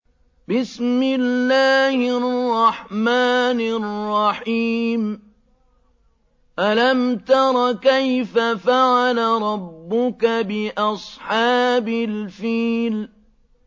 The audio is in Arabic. أَلَمْ تَرَ كَيْفَ فَعَلَ رَبُّكَ بِأَصْحَابِ الْفِيلِ